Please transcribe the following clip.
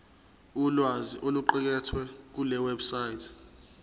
ulwazi oluqukethwe kulewebsite